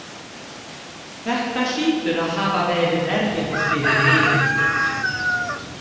Þetta hlýtur að hafa verið erfitt fyrir yður.